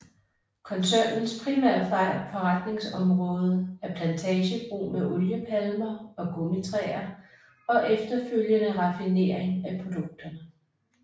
Koncernens primære forretningsområde er plantagebrug med oliepalmer og gummitræer og efterfølgende raffinering af produkterne